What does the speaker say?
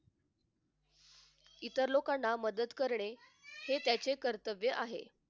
इतर लोकांना मदत करणे हे त्याचे कर्तव्य आहे.